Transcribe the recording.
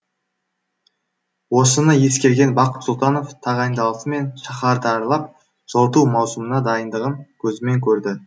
осыны ескерген бақыт сұлтанов тағайындалысымен шаһарды аралап жылыту маусымына дайындығын көзімен көрді